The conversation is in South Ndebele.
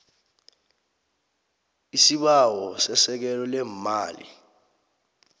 isibawo sesekelo leemali